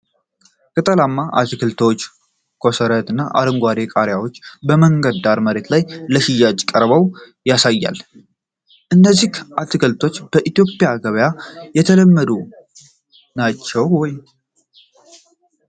ቅጠላማ አትክልቶች፣ ኮሰረት እና አረንጓዴ ቃሪያዎች በመንገድ ዳር መሬት ላይ ለሽያጭ ቀርበው ያሳያል። እነዚህ አትክልቶች በኢትዮጵያ ገበያ የተለመዱ ናቸው ?